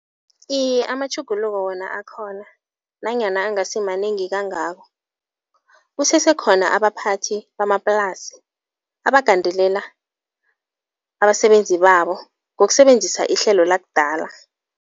Iye amatjhuguluko wona akhona nanyana angasimanengi kangako. Kusese khona abaphathi bamaplasi abagandelela abasebenzi babo ngokusebenzisa ihlelo lakudala.